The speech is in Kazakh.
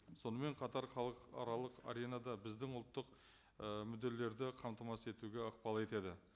сонымен қатар халықаралық аренада біздің ұлттық ы мүдделерді қамтамасыз етуге ықпал етеді